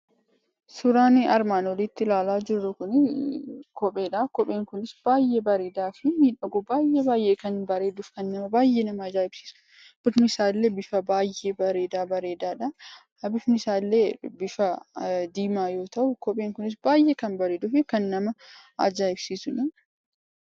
Suuraan nuti armaan oliitti ilaalaa jirru kun kopheedha. Kopheen kun baay'ee baay'ee bareedaa fi baay'ee kan miidhagu akkasumas baay'ee nama ajaa'ibsiisudha. Bifni isaallee bifa baay'ee baay'ee bareedaadha. Bifni isaallee diimaa yoo ta’u, kopheen kunis baay'ee kan bareeduufi ajaa'ibsiisuudha.